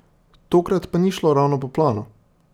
Tokrat pa ni šlo ravno po planu.